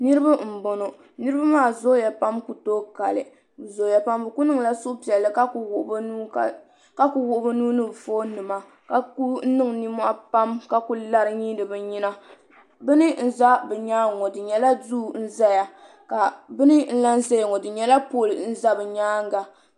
niraba n bɔŋɔ niraba maa zooya pam ku tooi kali bi ku niŋla suhupiɛlli ka ku wuɣi bi nuu ni bi foon nima ka ku niŋ nimmohi pam ka ku lari n nyiindi bi nyina bini n ʒɛ bi myaangi ŋɔ di nyɛla duu n ʒɛya bini n lahi ʒɛ bi nyaangi ŋɔ dinyɛla pool n ʒɛya